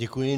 Děkuji.